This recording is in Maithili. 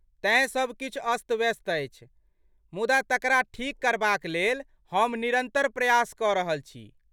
तेँ सब किछु अस्त व्यस्त अछि, मुदा तकरा ठीक करबाक लेल हम निरन्तर प्रयास कऽ रहल छी।